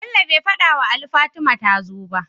bello be fadawa Ali Fatima tazo ba?